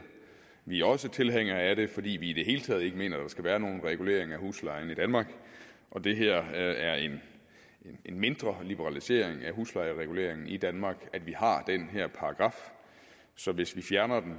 vi er også tilhængere af det fordi vi i det hele taget ikke mener at der skal være nogen regulering af huslejen i danmark og det her er en mindre liberalisering af huslejereguleringen i danmark at vi har den her paragraf så hvis vi fjerner